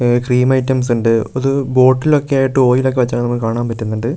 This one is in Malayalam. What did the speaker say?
ഉം ക്രീം ഐറ്റംസ് ഇണ്ട് ഒരു ബോട്ടിൽ ഒക്കെ ആയിട്ട് ഓയിൽ ഒക്കെ വെച്ചതായിട്ട് നമുക്ക് കാണാൻ പറ്റുന്നുണ്ട് പിന്നെ ഒരു --